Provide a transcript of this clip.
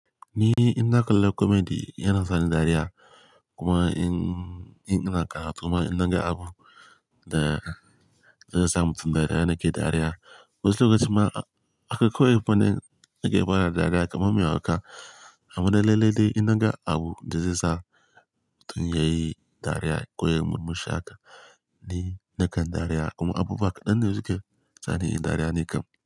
Ni in na kalla comedy yana sa ni dariya kuma in, in, ina karatu ma in na ga abu da zai sa mutum dariya nake dariya. Wasu lokuta ma aka koyi fannin da ke bada dariya kamar mai hauka. Amma da lalle dai in na ga abu da zai sa mutum ya yi dariya ko ya yi murmusha ka, ni nakan dariya kuma abubuwa ka ɗan ne suke sani in dariya nikam.